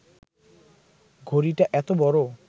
ঘড়িটা এত বড়